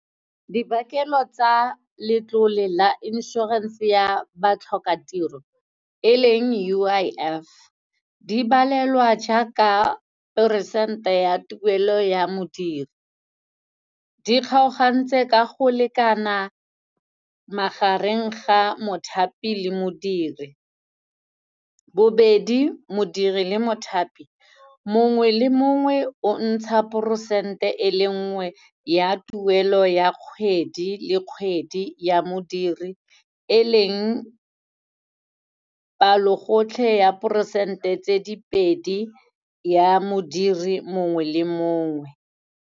Dibakelo tsa letlole la insurance-e ya batlhokatiro, e leng U_I_F di balelwa jaaka peresente ya tuelo ya modiri. Di kgaogantse ka go lekana magareng ga mothapi le modiri. Bobedi, modiri le mothapi, mongwe le mongwe o ntsha peresente e le nngwe ya tuelo ya kgwedi le kgwedi ya modiri, e leng palogotlhe ya peresente tse di pedi, ya modiri mongwe le mongwe.